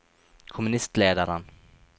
kommunistlederen